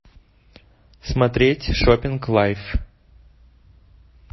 смотреть шоппинг лайв